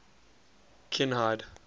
kinhide